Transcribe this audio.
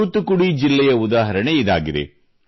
ತೂತುಕುಡಿ ಜಿಲ್ಲೆಯ ಉದಾಹರಣೆ ಇದಾಗಿದೆ